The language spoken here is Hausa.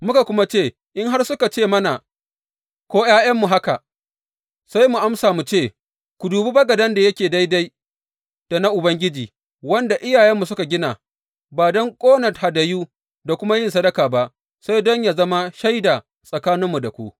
Muka kuma ce, In har suka ce mana, ko ’ya’yanmu haka, sai mu amsa mu ce ku dubi bagaden da yake daidai da na Ubangiji wanda iyayenmu suka gina, ba don ƙona hadayu da kuma yin sadaka ba, sai dai don yă zama shaida tsakaninmu da ku.’